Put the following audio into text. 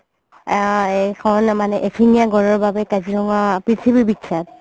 আ মানে এশিঙীয়া গঁড়ৰ বাবে কাজিৰঙা পৃথিৱী বিখ্যাত